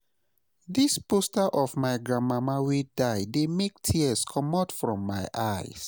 Dis poster of my grandmama wey die dey make tears comot from my eyes.